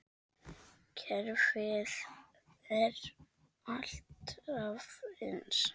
Kerfið er alltaf eins.